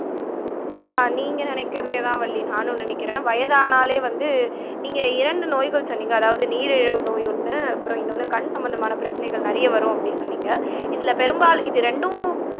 அஹ் நீங்க நினைக்கிறதேதான் வள்ளி நானும் நினைக்கிறேன் வயதானாலே வந்து நீங்க இரண்டு நோய்கள் சொன்னீங்க அதாவது நீரிழிவு நோய் ஒண்ணு அப்புறம் இன்னொன்னு கண் சம்பந்தமான பிரச்சனைகள் நிறைய வரும் அப்படின்னு சொன்னீங்க இதுல பெரும்பால் இது ரெண்டும்